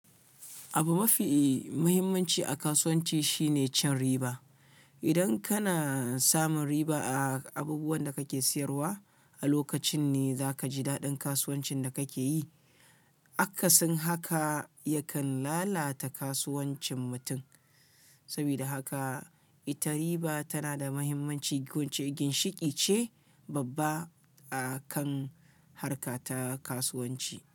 Abu mafi muhimmanci a kasuwanci shine cin riba. Idan kana samun riba a abubuwan da kake siyarwa, a lokacin ne za ka ji daɗin kasuwancin da kake yi. Akasin haka, yakan lalata kasuwancin mutum. Saboda haka, ita riba tana da mahimmanci wuce ginshiƙi ce babba a kan harka ta kasuwanci.